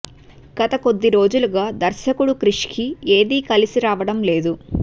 గత కొద్దిరోజులుగా దర్శకుడు క్రిష్ కి ఏది కలిసి రావడం లేదు